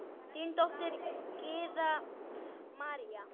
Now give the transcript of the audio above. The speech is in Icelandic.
Þín dóttir, Gyða María.